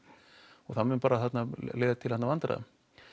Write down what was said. og það mun bara leiða til annarra vandræða